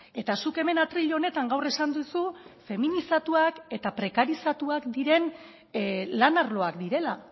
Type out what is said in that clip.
eta zuk hemen atril honetan gaur esan duzu feminizatuak eta prekarizatuak diren lan arloak direla